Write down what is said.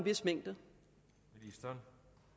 vis mængde der